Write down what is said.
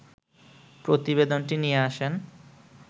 প্রতিবেদনটি দিয়ে আসেন